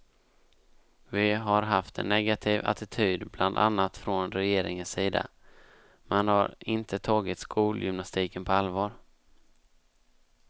Vi har haft en negativ attityd bland annat från regeringens sida, man har inte tagit skolgymnastiken på allvar.